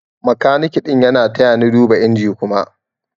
makaniki ɗin ya taya ni duba inji Kuma.